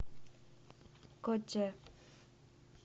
кодже